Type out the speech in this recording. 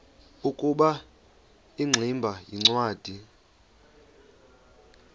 ukuba ingximba yincwadi